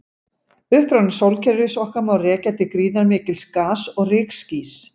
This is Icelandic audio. Uppruna sólkerfis okkar má rekja til gríðarmikils gas- og rykskýs.